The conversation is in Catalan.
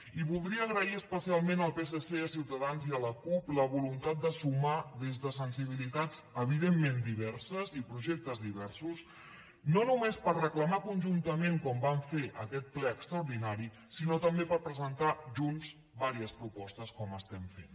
i voldria agrair especialment al psc a ciutadans i a la cup la voluntat de sumar des de sensibilitats evidentment diverses i projectes diversos no només per reclamar conjuntament com vam fer en aquest ple extraordinari sinó també per presentar junts diverses propostes com estem fent